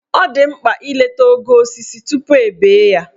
Ọ dị mkpa ileta ogo osisi tupu e bee ya?